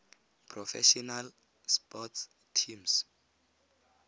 professional sports teams